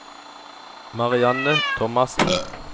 Marianne Thomassen